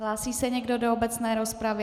Hlásí se někdo do obecné rozpravy?